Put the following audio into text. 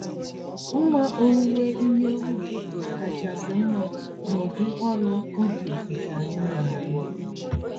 Mma owuwe ihe ubi kachasị mma n'ụdị ọrụ ubi nke anyị narụ.